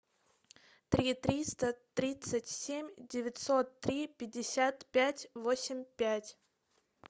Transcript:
три триста тридцать семь девятьсот три пятьдесят пять восемь пять